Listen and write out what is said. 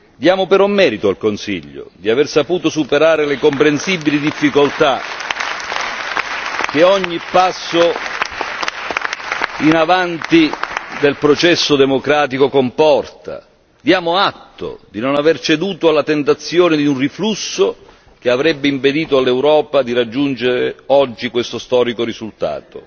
Diamo però merito al Consiglio di aver saputo superare le comprensibili difficoltà che comporta ogni passo avanti del processo democratico diamo atto di non aver ceduto alla tentazione di un riflusso che avrebbe impedito all'Europa di raggiungere oggi questo storico risultato.